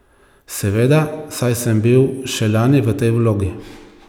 Seveda, saj sem bil še lani v tej vlogi.